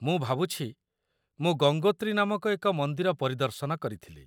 ମୁଁ ଭାବୁଛି, ମୁଁ ଗଙ୍ଗୋତ୍ରୀ ନାମକ ଏକ ମନ୍ଦିର ପରିଦର୍ଶନ କରିଥିଲି।